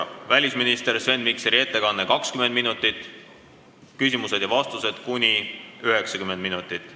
Kõigepealt on välisminister Sven Mikseri ettekanne kuni 20 minutit, millele järgenvad küsimused ja vastused kuni 90 minutit.